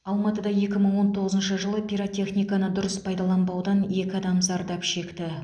алматыда екі мың он тоғызыншы жылы пиротехниканы дұрыс пайдаланбаудан екі адам зардап шекті